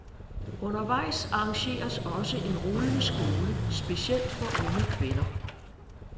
Undervejs arrangeres også en rullende skole specielt for unge kvinder.